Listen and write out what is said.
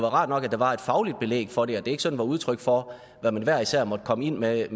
rart nok at der var et fagligt belæg for det og at det ikke sådan var udtryk for hvad man hver især måtte komme ind med af